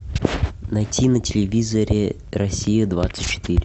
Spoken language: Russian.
найти на телевизоре россия двадцать четыре